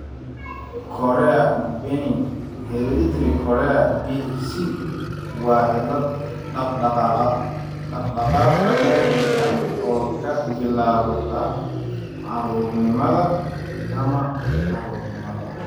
Chorea benign hereditary chorea (BHC) waa cillad dhaq-dhaqaaq naadir ah oo ka bilaabata caruurnimada ama caruurnimada.